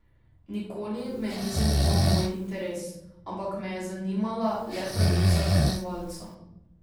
Nikoli me ni zanimal moj interes, ampak me je zanimala le pravica tekmovalca.